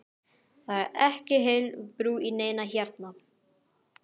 Það er ekki heil brú í neinu hérna!